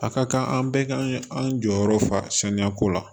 A ka kan an bɛɛ kan an jɔyɔrɔ fa saniya ko la